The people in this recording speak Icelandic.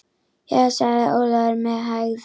Jæja, sagði Ólafur með hægð.